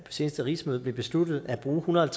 seneste rigsmøde blev besluttet at bruge en hundrede og